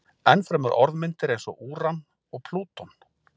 Enn fremur orðmyndir eins og úran og plúton.